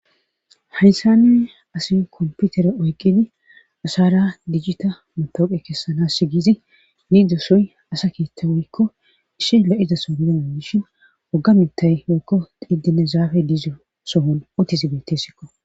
Haysaney asi komputere oykqidi asara dijjita motooqe kessanas s giizi ne doosoy asa kiitta woykko ishi la'izaso gidana dishin wogga mittay wokko didine zaafe dizo sohon otisi beettessikko.